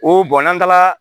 O n'an taara